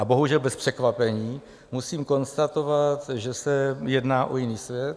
A bohužel bez překvapení musím konstatovat, že se jedná o jiný svět.